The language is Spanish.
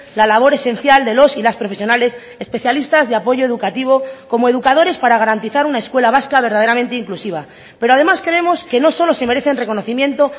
la labor esencial de los y las profesionales especialistas de apoyo educativo como educadores para garantizar una escuela vasca verdaderamente inclusiva pero además creemos que no solo se merecen reconocimiento